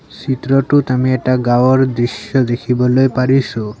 চিত্ৰটোত আমি এটা গাঁৱৰ দৃশ্য দেখিবলৈ পাৰিছোঁ।